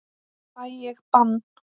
Fæ ég bann?